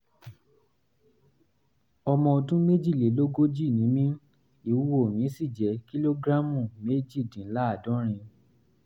ọmọ ọdún méjìlélógójì ni mí ìwúwo mi sì jẹ́ kìlógíráàmù méjìdínláàádọ́rin